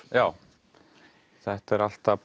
já þetta er alltaf